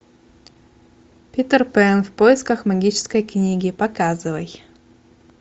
питер пэн в поисках магической книги показывай